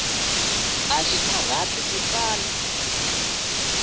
axi karhati ku tsala